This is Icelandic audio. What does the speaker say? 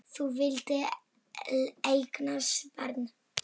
Þú vildir líka eignast barn.